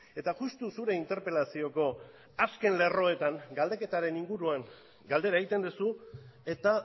eta justu zure interpelazioko azken lerroetan galdeketaren inguruan galdera egiten duzu eta